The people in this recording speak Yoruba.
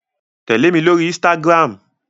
Tẹ̀lé mi lórí Instagram!